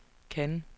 Cannes